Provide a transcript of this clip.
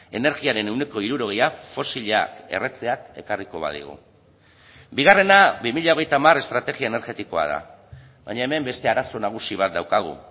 energiaren ehuneko hirurogeia fosilak erretzeak ekarriko badigu bigarrena bi mila hogeita hamar estrategia energetikoa da baina hemen beste arazo nagusi bat daukagu